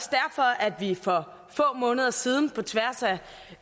det er for få måneder siden på tværs af